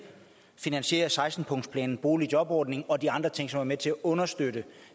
finansiere seksten punktsplanen boligjobordningen og de andre ting som er med til at understøtte